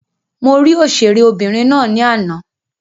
Mo rí òṣèré obìnrin ná ní àná.